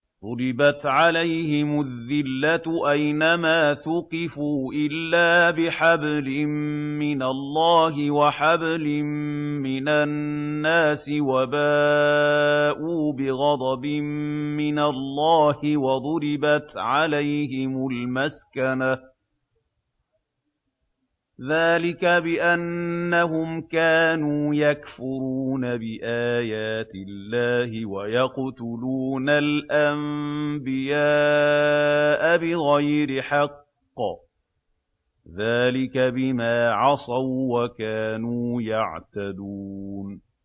ضُرِبَتْ عَلَيْهِمُ الذِّلَّةُ أَيْنَ مَا ثُقِفُوا إِلَّا بِحَبْلٍ مِّنَ اللَّهِ وَحَبْلٍ مِّنَ النَّاسِ وَبَاءُوا بِغَضَبٍ مِّنَ اللَّهِ وَضُرِبَتْ عَلَيْهِمُ الْمَسْكَنَةُ ۚ ذَٰلِكَ بِأَنَّهُمْ كَانُوا يَكْفُرُونَ بِآيَاتِ اللَّهِ وَيَقْتُلُونَ الْأَنبِيَاءَ بِغَيْرِ حَقٍّ ۚ ذَٰلِكَ بِمَا عَصَوا وَّكَانُوا يَعْتَدُونَ